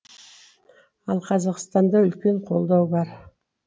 ал қазақстанда үлкен қолдау бар